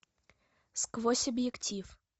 сквозь объектив